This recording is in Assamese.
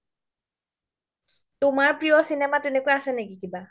তুমাৰ প্ৰিয় চিনেমা আছে নেকি তেনেকুৱা কিবা ?